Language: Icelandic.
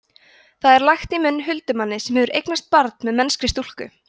það er lagt í munn huldumanni sem hefur eignast barn með mennskri stúlku